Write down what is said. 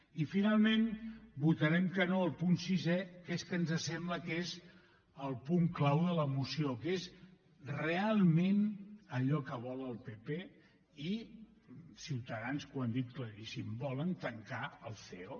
i finalment votarem que no al punt sisè que és el que ens sembla que és el punt clau de la moció que és realment allò que vol el partit popular i ciutadans que ho han dit claríssim volen tancar el ceo